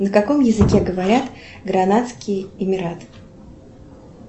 на каком языке говорят гранадские эмираты